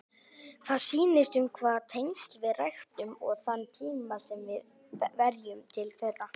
Það snýst um hvaða tengsl við ræktum og þann tíma sem við verjum til þeirra.